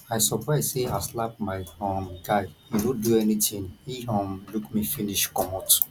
i surprise say i slap my um guy he no do anythinghe um look me finish comot